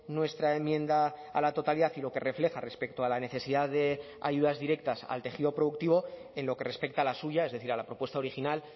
nuestra enmienda a la totalidad y lo que refleja respecto a la necesidad de ayudas directas al tejido productivo en lo que respecta a la suya es decir a la propuesta original